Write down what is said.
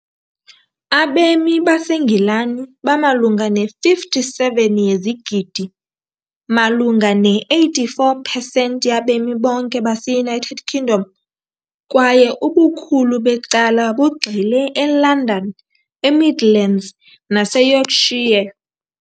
Abemi baseNgilani bamalunga ne-57 yezigidi, malunga ne-84 percent yabemi bonke base-United Kingdom, kwaye ubukhulu becala bugxile eLondon, eMidlands naseYorkshire.